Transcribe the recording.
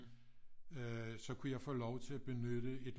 Øh så kunne jeg få lov til at benytte et